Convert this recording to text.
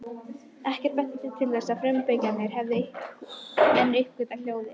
Ekkert benti til þess að frumbyggjarnir hefðu enn uppgötvað hjólið.